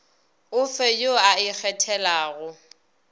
o fe yo o ikgethelago